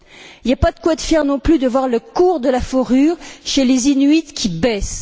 Il n'y a pas de quoi être fier non plus de voir le cours de la fourrure chez les Inuits, qui baisse.